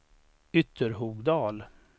Ytterhogdal